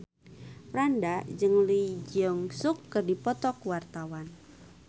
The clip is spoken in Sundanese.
Franda jeung Lee Jeong Suk keur dipoto ku wartawan